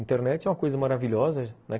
Internet é uma coisa maravilhosa, né?